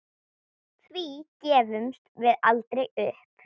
Því gefumst við aldrei upp.